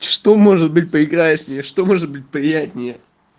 что может быть прекраснее что может быть приятнее